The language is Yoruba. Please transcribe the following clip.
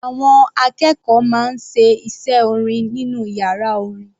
Àwọn akẹ́kọ̀ọ́ máa ń ṣe iṣẹ́ orin nínú yàrá orin.